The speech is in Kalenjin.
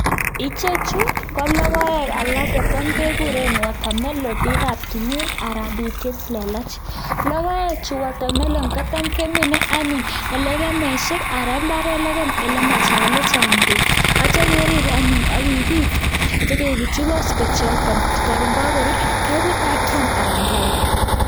Ichechu ko logoek alak che tam ke guree watermelon biik ab tulwet anan biik che lelach logoek chu watermelon ko tam ke mine anyon eng legemisyek ana mbaret legem ole chaa'ng beek atyo kerib anyon akibutyi bospet Karon kakorur atya ke but anan ke alda.